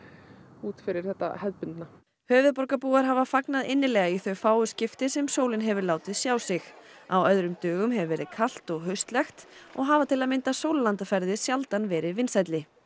út fyrir þetta hefðbundna höfuðborgarbúar hafa fagnað innilega í þau fáu skipti sem sólin hefur látið sjá sig á öðrum dögum hefur verið kalt og haustlegt og hafa til að mynda sólarlandaferðir sjaldan verið vinsælli